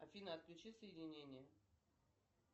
афина отключи соединение